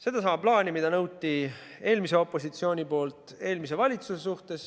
Sedasama plaani, mida eelmine opositsioon nõudis eelmiselt valitsuselt.